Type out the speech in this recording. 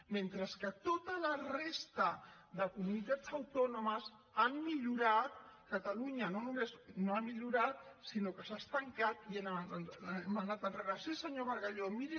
mentre que tota la resta de comunitats autònomes han millorat catalunya no només no ha millorat sinó que s’ha estancat i hem anat enrere